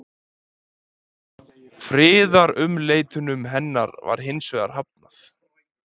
Friðarumleitunum hennar var hins vegar hafnað.